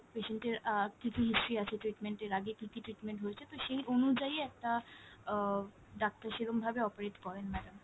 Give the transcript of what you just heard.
patient এর আহ কী কী history আছে treatment এর, আগে কী কী treatment হয়েছে। তো সেই অনুযায়ী একটা আহ ডাক্তার সেরকমভাবে operate করেন madam।